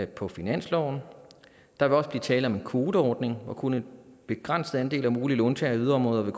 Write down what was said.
på finansloven og der vil også blive tale om en kvoteordning hvor kun en begrænset andel af de mulige låntagere i yderområderne